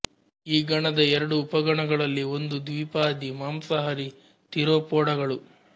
ಈ ಗಣದ ಎರಡು ಉಪಗಣಗಳಲ್ಲಿ ಒಂದು ದ್ವಿಪಾದಿ ಮಾಂಸಾಹಾರಿ ಥೀರೊಪೊಡಗಳು